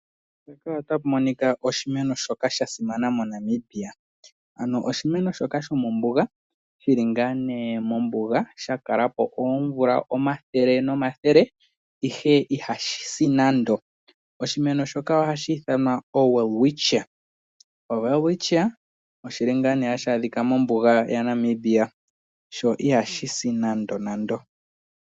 Oshimeno shoka sha simana moNamibia. Ano oshimeno shoka shomombuga shili ngaa ne mombuga sha kala po omvula omathele nomathele ihe ihashi si nando. Oshimeno shoka ohashi ithanwa oWelwichia oshili ngaa nee hashi adhika mombuga yaNamibia. Sho ihashi si nando nando.